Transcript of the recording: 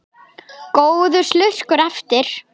Góður slurkur eftir.